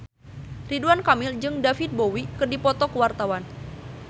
Ridwan Kamil jeung David Bowie keur dipoto ku wartawan